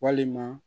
Walima